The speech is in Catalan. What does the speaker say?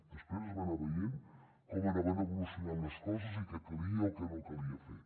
després es va anar veient com anaven evolucionant les coses i què calia o què no calia fer